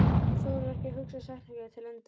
Hún þorir ekki að hugsa setninguna til enda.